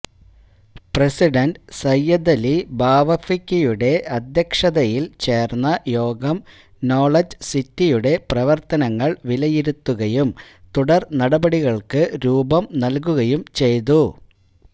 president സയ്യിദലി ബാഫഖിയുടെ അധ്യക്ഷതയില് ചേര്ന്ന യോഗം knowledge സിറ്റിയുടെ പ്രവര്ത്തനങ്ങള് വിലയിരുത്തുകയും തുടര് നടപടികള്ക്ക് രൂപം നല്കുകയും ചെയ്തു